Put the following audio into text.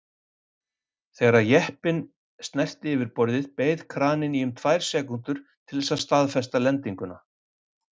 Þegar jeppinn snerti yfirborðið beið kraninn í um tvær sekúndur til þess að staðfesta lendinguna.